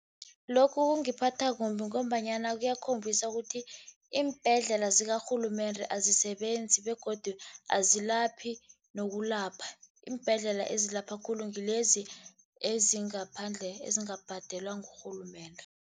Lokhu kungiphatha kumbi ngombanyana kuyakhombisa ukuthi iimbhedlela zikarhulumende azisebenzi, begodu azilaphi nokulapha. Iimbhedlela ezilapha khulu ngilezi ezingaphandle, ezingabhadelwa ngurhulumende.